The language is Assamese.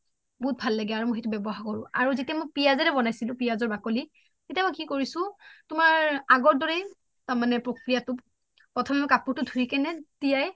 বহুত ভাল লাগে আৰু মই সেইতু ৱ্যাবহাৰ কৰো আৰু মই যেতিয়া পিযাশ ৰে বোনাইছিলো পিযাশৰ বাকলি তেতিয়া মই কি কৰিছো আগৰ দৰেই মানে প্ৰকক্ৰিয়া প্ৰথমে মই কাপুৰ তু ধুই কিনে তিয়াই